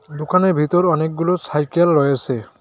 দুকানের ভেতর অনেকগুলো সাইকেল রয়েসে।